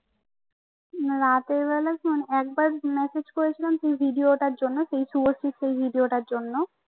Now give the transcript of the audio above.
না রাতের বেলা মানে একবার message করেছিলাম সেই ভিডিও টার জন্য সেই শুভশ্রীর সেই ভিডিও টার জন্য